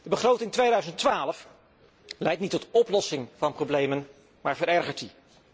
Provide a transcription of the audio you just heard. De begroting 2012 leidt niet tot oplossing van problemen, maar verergert die.